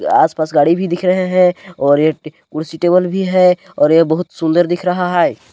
आस-पास गाडी भी दिख रहे हैं और एक कुर्सी टेबल भी है और यह बहुत सुंदर दिख रहा है।